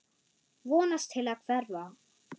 Vonast til að hverfa.